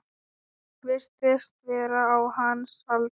Virtist vera á hans aldri.